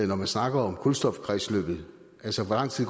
når man snakker om kulstofkredsløbet altså hvor lang tid